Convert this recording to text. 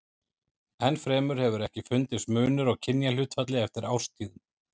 Enn fremur hefur ekki fundist munur á kynjahlutfalli eftir árstíðum.